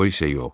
O isə yox.